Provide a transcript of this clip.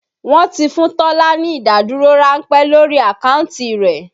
Wọn ti fún Tọ́lá ní ìdádúró ránpẹ́ lórí àkáǹtì rẹ̀